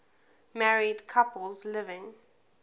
married couples living